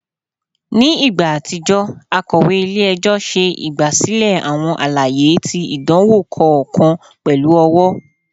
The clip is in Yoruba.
Ni igba atijọ, akọwe ile-ẹjọ ṣe igbasilẹ awọn alaye ti idanwo kọọkan pẹlu ọwọ